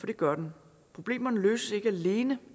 det gør den problemerne løses ikke alene